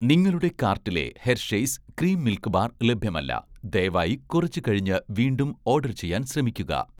നിങ്ങളുടെ കാർട്ടിലെ 'Hershey's' cream milk bar ലഭ്യമല്ല. ദയവായി കുറച്ച് കഴിഞ്ഞ് വീണ്ടും ഓഡർ ചെയ്യാൻ ശ്രമിക്കുക